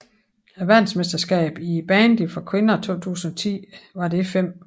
Verdensmesterskabet i bandy for kvinder 2010 var det 5